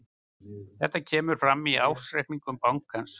Þetta kemur fram í ársreikningi bankans